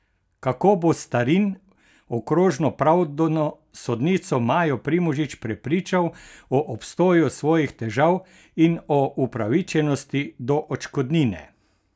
Kako bo Starin okrožno pravdno sodnico Majo Primožič prepričal o obstoju svojih težav in o upravičenosti do odškodnine?